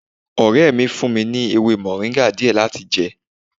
Ọrẹ mi fún mi ní ewé moringa díẹ̀ láti jẹ